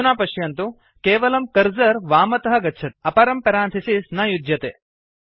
अधुना पश्यन्तु केवलं कर्सर् वामतः गच्छति अपरं पेरांथिसिस् न युज्यते